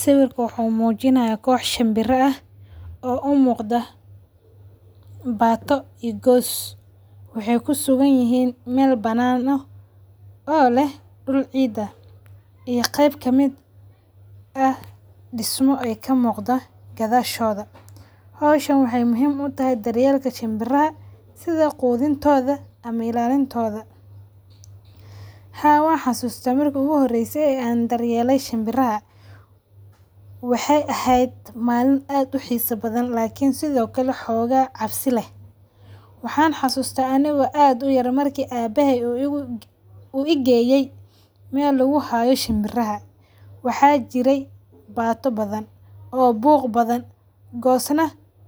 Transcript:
Sawirka wuxuu muujinayay koox shambirah oo u muuqda baato iyo goos, waxay ku sugan yihiin meel banaano oo le dhul ciida iyo qeyb ka mid ah dhismo ay ka muuqda gadaashooda. Hooshaan waxay muhim u tahay daryeelka shambiraha sida quudintooda ama ilaalintooda. Ha waa xasuusta markuu u horeysay aan daryeelay shambiraha? Waxay ahayd maalin aad u xiiso badan laakiin sidoo kale xoogaa cabsi leh. Waxaan xusuusta aniga aad u yara markii aabahay uu igu u geeyey meel ugu haayo shambiraha. Waxa jiray baato badan oo buuq badan, goosna